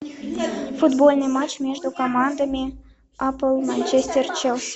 футбольный матч между командами апл манчестер челси